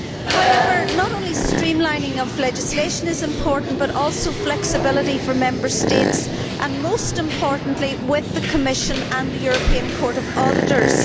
However, not only streamlining of legislation is important but also flexibility for Member States and, most importantly, with the Commission and the European Court of Auditors.